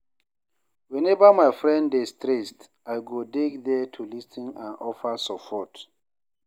Whenever my friend dey stressed, I go dey there to lis ten and offer support.